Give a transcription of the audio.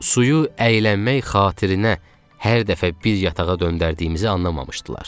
Suyu əyiləmək xatirinə hər dəfə bir yatağa döndərdiyimizi anlamamışdılar.